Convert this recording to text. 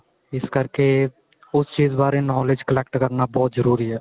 ਇਸ ਕਰਕੇ ਉਸ ਚੀਜ ਬਾਰੇ knowledge collect ਕਰਨਾ ਬਹੁਤ ਜਰੂਰੀ ਏ